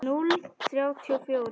Núll þrjátíu og fjórir?